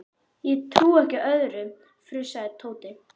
Ég trúi ekki öðru, fussaði Tóti.